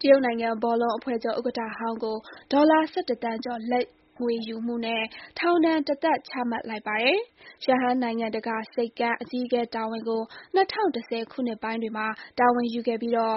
တရုတ်နိုင်ငံဘောလုံးအဖွဲ့ချုပ်ဥက္ကဋ္ဌဟောင်းကို ဒေါ်လာ ၁၁ သန်းကျော် လာဘ်ငွေယူမှုနဲ့ ထောင်ဒဏ် တသက် ချမှတ်လိုက်ပါတယ်။ ရှန်ဟိုင်းနိုင်ငံတကာဆိပ်ကမ်း (Shanghai International Port Co 600018.SS) အကြီးအကဲတာဝန်ကို ၂၀၁၀ ခုနှစ်ပိုင်းတွေမှာ တာဝန်ယူခဲ့ပြီး ၂၀